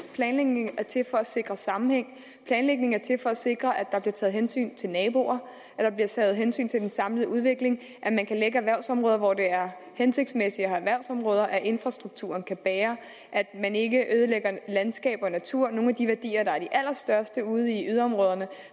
planlægning er til for at sikre sammenhæng planlægning er til for at sikre at der bliver taget hensyn til naboer at der bliver taget hensyn til den samlede udvikling at man kan lægge erhvervsområder hvor det er hensigtsmæssigt at have erhvervsområder at infrastrukturen kan bære at man ikke ødelægger landskaber og natur nogle af de værdier allerstørste ude i yderområderne